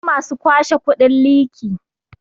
akwai masu kwashe kudin liki